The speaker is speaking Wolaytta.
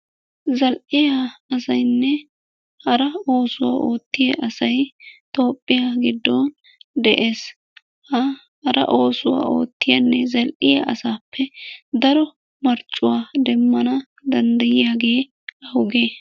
Zal"iya asaynne hara oosuwaa oottiya asay Toophiya giddon de'ees. Ha hara oosuwa ootriyanne zal"iyaa asappe daro marccuwaa demmana danddayyiyaage awuge?